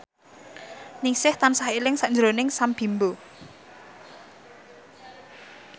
Ningsih tansah eling sakjroning Sam Bimbo